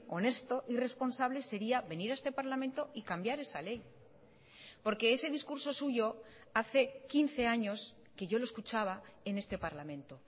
honesto y responsable sería venir a este parlamento y cambiar esa ley porque ese discurso suyo hace quince años que yo lo escuchaba en este parlamento